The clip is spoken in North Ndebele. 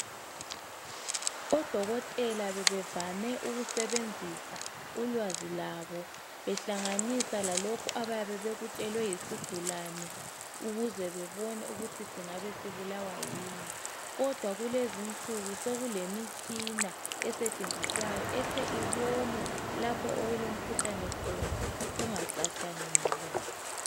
Odokotela bebevame ukusebenzisa ulwazi lwabo behlanganisa lalokho abayabe bekutshelwe yisigulane ukuze bebona ukuthi singabe sibulawa yini. Kodwa lezinsuku sekulemitshina esetshenziswayo ehle ibone okulomkhuhlane khona kungacatshangelwa.